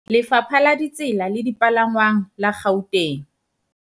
Lefapha la Ditsela le Dipalangwang la Gauteng